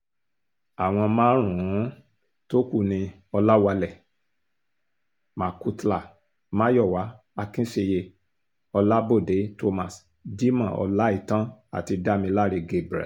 àwọn márùn-ún tó kú ni ọ̀làwálẹ̀ macautla mayowa akinseye ọlábòde thomas jimoh ọláìtàn àti damiláré gabriel